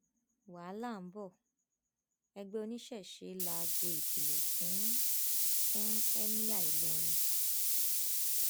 wàhálà ń bo ẹgbẹ oníṣẹṣẹ láago ìkìlọ fún fún ẹmíà ìlọrin